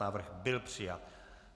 Návrh byl přijat.